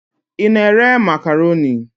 Ị na-ere Makroni?